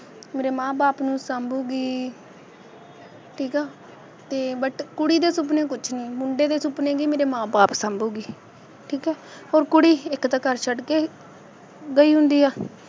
ਮੇਰੇ ਮਾਂ ਬਾਪ ਨੂੰ ਸਾਂਭੂਗੀ ਠੀਕ ਆ ਅਤੇ but ਕੁੜੀ ਦੇ ਸੁਪਨੇ ਕੁੱਛ ਨਹੀਂ, ਮੁੰਡੇ ਦੇ ਸੁਪਨੇ ਕਿ ਮੇਰੇ ਮਾਂ ਬਾਪ ਸਾਂਭੂਗੀ ਠੀਕ ਆ ਹੋਰ ਕੁੜੀ ਇੱਕ ਤਾਂ ਘਰ ਛੱਡ ਕੇ ਗਈ ਹੁੰਦੀ ਆ